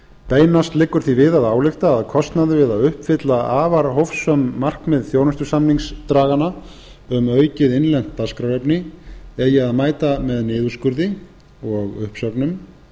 beinast liggur því við að álykta að kostnaði við að uppfylla afar hófsöm markmið þjónustusamningsdraganna um aukið innlent dagskrárefni eigi að mæta með niðurskurði og uppsögnum